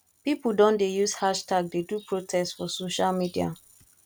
pipo don dey use hashtag dey do protest for social media